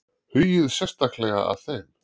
Hugið sérstaklega að þeim.